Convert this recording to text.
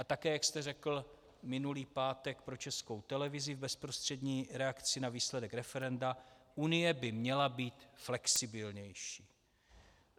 A také, jak jste řekl minulý pátek pro Českou televizi v bezprostřední reakci na výsledek referenda, Unie by měla být flexibilnější.